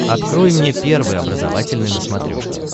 открой мне первый образовательный на смотрешке